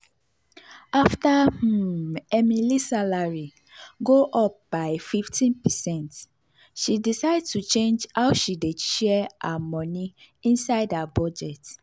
after um emily salary go up by 15 percent she decide to change how she dey share her money inside her budget.